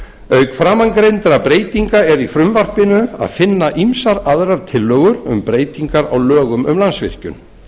auk framangreindra breytinga er í frumvarpinu að finna ýmsar aðrar tillögur um breytingar á lögum um landsvirkjun